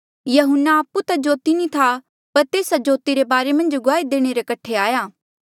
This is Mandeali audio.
यहून्ना आपु ता जोती नी था पर तेस्सा जोती रे बारे मन्झ गुआही देणे रे कठे आया